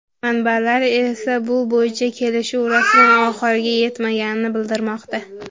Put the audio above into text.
Manbalar esa bu bo‘yicha kelishuv rasman oxiriga yetmaganini bildirmoqda.